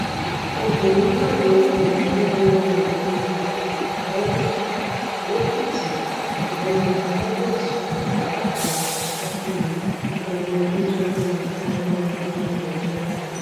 obìnrin náà ní ìyàwó wọnléwọnlẹàgbà tẹlẹ lèkìtì ọgbẹni felix ọdàdàpọ ọṣákálí ẹni tó dágbére fáyé lọdún tó kọjá